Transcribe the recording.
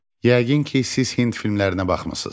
Yəqin ki, siz Hind filmlərinə baxmısız.